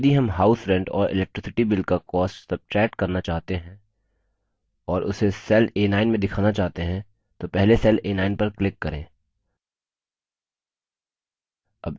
यदि हम house rent और electricity bill का cost सब्ट्रैक्ट करना चाहते हैं और उसे cell a9 में दिखाना चाहते हैं तो पहले cell a9 पर click करें